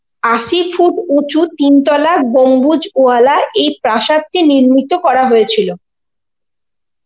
আশি foot তিন তলা গম্বুজ ওয়ালা এই প্রাসাদটি নির্মিত করা হয়েছিল.